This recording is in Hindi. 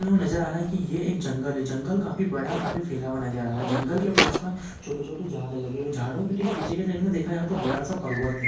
इसमें यू नजर आ रहा है कि ये एक जंगल है जंगल काफी बड़ा काफी फेला हुआ नजर आ रहा है जंगल के पास मे छोटे -छोटे झाड़ लगे हैं झाड़ों के ठीक पीछे के साइड मे देखा जाए तो बड़ा-सा पर्वत है।